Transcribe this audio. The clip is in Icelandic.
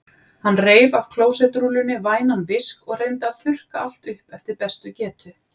Hann reif af klósettrúllunni vænan visk og reyndi að þurrka allt upp eftir bestu getu.